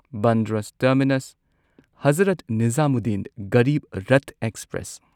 Bandra terminus Hazrat Nizamuddin Garib Rath express